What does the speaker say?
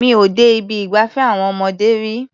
Mi ò dé ibi ìgbafẹ́ àwọn ọmọdé rí.